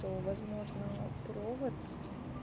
то возможно провод